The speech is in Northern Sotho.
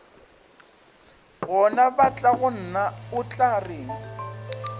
gona batlagonna o tla reng